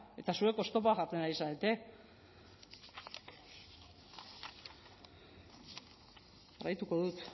eta zuek oztopoak jartzen ari zarete jarraituko dut